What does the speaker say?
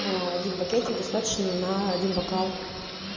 один пакетик достаточно на один бокал